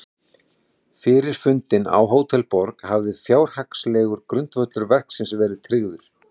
Fyrir fundinn á Hótel Borg hafði fjárhagslegur grundvöllur verksins verið tryggður.